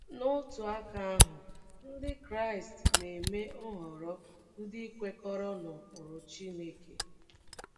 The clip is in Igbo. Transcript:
N’otu aka ahụ, Ndị Kraịst na - eme nhọrọ ndị kwekọrọ n’ụkpụrụ Chineke.